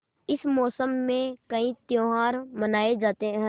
इस मौसम में कई त्यौहार मनाये जाते हैं